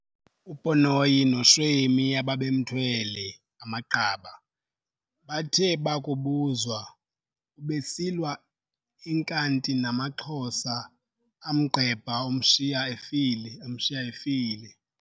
UPonoyi noShweni ababemthwele amaqaba bathe bakubuzwa "Ubesilwa enkanti namaXhosa, amgqebha amshiya efile.